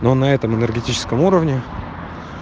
но на этом энергетическом уровне